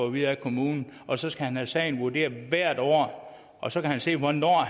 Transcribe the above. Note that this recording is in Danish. at vide af kommunen og så skal han have sagen vurderet hvert år og så kan han se hvornår